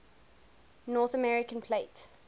north american plate